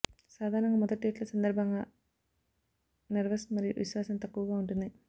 సాధారణంగా మొదటి డేట్ల సందర్భంగా నెర్వస్ మరియు విశ్వాసం తక్కువగా ఉంటుంది